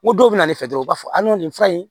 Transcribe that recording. N ko dɔw bɛ na ne fɛ dɔrɔn u b'a fɔ a ni nin fura in